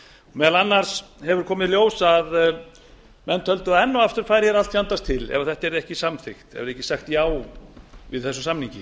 meðal annars hefur komið í ljós að menn töldu að enn og aftur færi allt fjandans til ef þetta yrði ekki samþykkt ef ekki yrði sagt já við þessum samningi